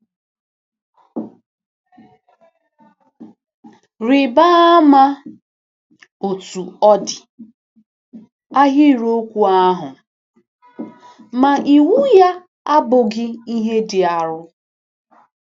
Rịba ama, Otú ọ dị, ahịrịokwu ahụ: “Ma iwu ya abụghị ihe dị arọ.”